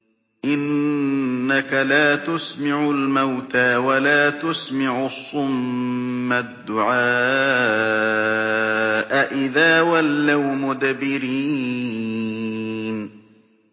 إِنَّكَ لَا تُسْمِعُ الْمَوْتَىٰ وَلَا تُسْمِعُ الصُّمَّ الدُّعَاءَ إِذَا وَلَّوْا مُدْبِرِينَ